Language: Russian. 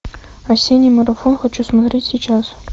осенний марафон хочу смотреть сейчас